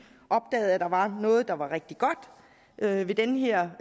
opdaget at der var noget der var rigtig godt ved ved den her